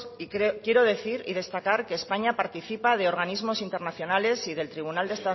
y quiero decir y destacar que españa participa de organismos internacionales y del tribunal de